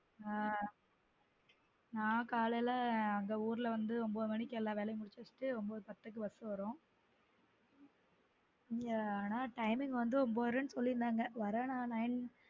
ஆஹ் நான் காலைல அங்க ஊரல வந்து ஒன்பது மணிக்கு எல்லா வேலயும் முடிச்சு வச்சுட்டு ஒன்பது பத்து க்கு bus வரும் அங்க ஆனா timing வந்து ஒன்பதரை சொல்லிருந்தங்க வர நான் nine